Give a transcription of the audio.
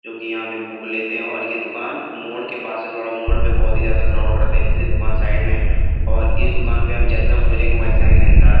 जो की यहाँ पे बुक लेते है और या दुकान मोड़ के पास है थोड़ा मोड़ पे बहुत ज्यादा क्राउड रहता है इसलिए दुकान साइड में है और इस दुकान पे हम जैसा खोजेंगे वैसा ही मिलता--